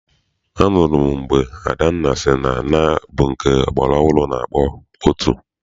Anụrụ m mgbe Adanna sị na nnaa bụ nke ọgbara ọhụrụ na-akpọ otu.